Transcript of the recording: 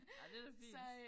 Ej det da fint